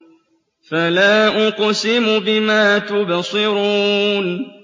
فَلَا أُقْسِمُ بِمَا تُبْصِرُونَ